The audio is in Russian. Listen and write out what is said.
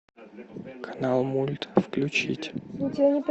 канал мульт включить